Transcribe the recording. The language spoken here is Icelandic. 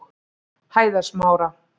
Hæðasmára